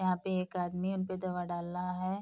यहाँ पे एक आदमी उनपे दवा डाल रहा है।